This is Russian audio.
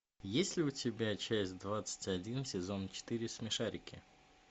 есть ли у тебя часть двадцать один сезон четыре смешарики